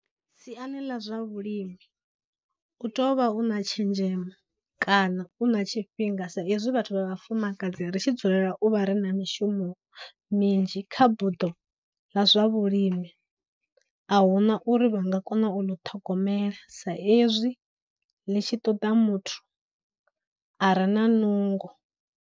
Siani ḽa zwa vhulimi u to vha u na tshenzhemo kana u na tshifhinga sa ezwi vhathu vha vhafumakadzi ri tshi dzulela u vha ri na mishumo minzhi, kha buḓo ḽa zwa vhulimi ahuna uri vha nga kona u ni ṱhogomela sa ezwi ḽi tshi ṱoda muthu a re na nungo.